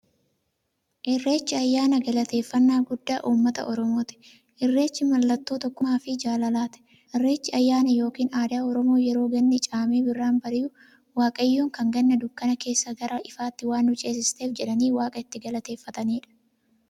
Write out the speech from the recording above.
Irreechi ayyaana galateeffnnaa guddaa ummata oromooti. Irreechi mallattoo tokkummaafi jaalalaati. Irreechi ayyaana yookiin aadaa Oromoo yeroo ganni caamee birraan bari'u, waaqayyoon kan Ganna dukkana keessaa gara ifaatti waan nu ceesifteef jedhanii waaqa itti galateeffataniidha.